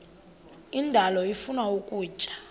indalo ifuna ukutya